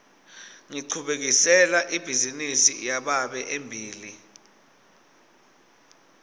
ngichubekisela ibhizinisi yababe embili